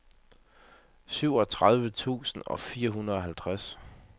syvogtredive tusind og fireoghalvtreds